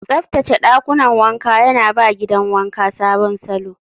Tsaftace ɗakunan wanka yana ba gidan wanka sabon salo.